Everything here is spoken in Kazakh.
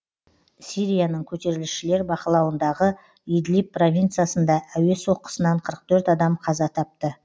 сирияның көтерілісшілер бақылауындағы идлиб провинциясында әуе соққысынан қырық төрт адам қаза тапты